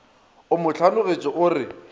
o mo hlanogetše o re